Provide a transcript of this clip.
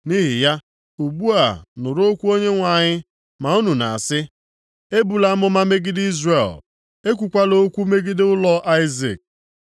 Nʼihi ya, ugbu a nụrụ okwu Onyenwe anyị, ma unu na-asị, “ ‘Ebula amụma megide Izrel, ekwukwala okwu megide ụlọ Aịzik.’